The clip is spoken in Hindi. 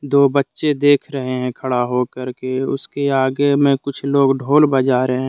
दो बच्चे देख रहे हैं खड़ा होकर के उसके आगे मैं कुछ लोग ढोल बजा रहे हैं।